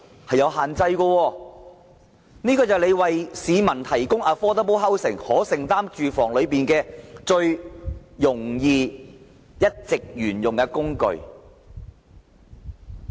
這是政府為市民提供可負擔房屋的最容易及一直沿用的工具。